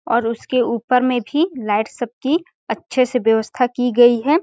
और उसके ऊपर में भी लाइट सब की अच्छे से व्यवस्था की गई हैं ।